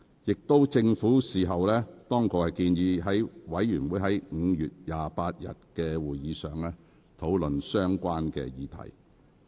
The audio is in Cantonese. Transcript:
其後，政府當局建議該事務委員會於5月28日的會議上討論相關議題。